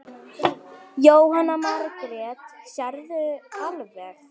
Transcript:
Jóhanna Margrét: Sérðu alveg?